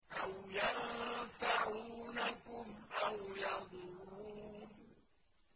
أَوْ يَنفَعُونَكُمْ أَوْ يَضُرُّونَ